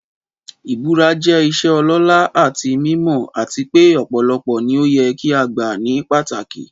Ìbúra jẹ́ ìṣe ọlọ́lá àti mímọ́, àti pé ọ̀pọ̀lọpọ̀ ni ó yẹ kí a gbà ní pàtàkì.